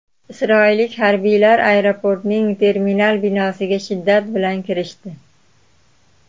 Isroillik harbiylar aeroportning terminal binosiga shiddat bilan kirishdi.